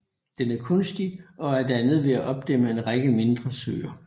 Den er kunstig og er dannet ved at opdæmme en række mindre søer